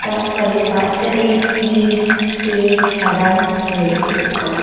তারপরে বাচ্চাদের কিরিম তেল সাবান রয়েসে।